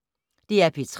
DR P3